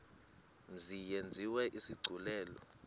mzi yenziwe isigculelo